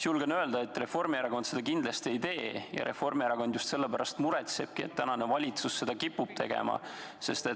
Julgen öelda, et Reformierakond seda kindlasti ei tee ja Reformierakond just selle pärast muretsebki, et tänane valitsus kipub seda tegema.